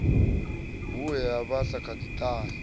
ḓi he hu sa ṱahise